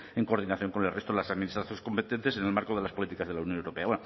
en coordinación con el resto de las administraciones competentes en el marco de las políticas de la unión europea